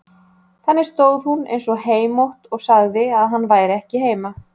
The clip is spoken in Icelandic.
Þannig stóð hún eins og heimótt og sagði að hann væri ekki heima.